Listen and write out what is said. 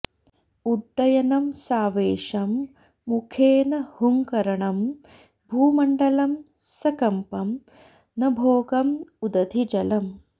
उड्डयनम् सावेशम् मुखेन हुंकरणम् भूमण्डलम् सकम्पम् नभोगम् उदधिजलम्